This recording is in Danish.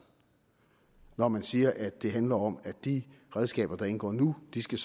når man siger at det handler om at de redskaber der indgår nu skal